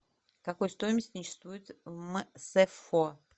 какой стоимости не существует в мсфо